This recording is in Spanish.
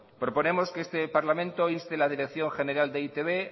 proponemos que este parlamento inste a la dirección general de e i te be